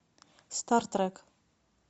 стартрек